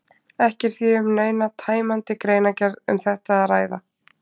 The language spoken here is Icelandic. Ekki er því um neina tæmandi greinargerð um þetta að ræða.